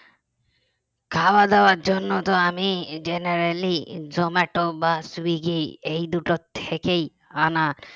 খাওয়া দেওয়ার জন্য তো আমি generally জোমাটো বা সুইগি এই দুটো থেকেই আনা